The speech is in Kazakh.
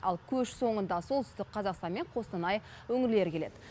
ал көш соңында солтүстік қазақстан мен қостанай өңірлері келеді